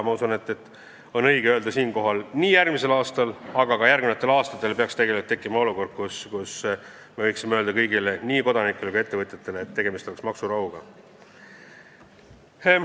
Usun, et siinkohal on õige öelda, et nii tuleval aastal kui ka järgmistel aastatel peaks tekkima olukord, kus me võime öelda kõigile – nii kodanikele kui ettevõtjatele –, et tegemist on maksurahuga.